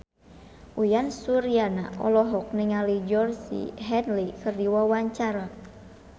Uyan Suryana olohok ningali Georgie Henley keur diwawancara